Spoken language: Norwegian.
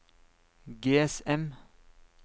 GSM